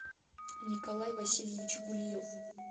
николай васильевич гульев